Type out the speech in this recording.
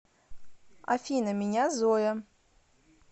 афина меня зоя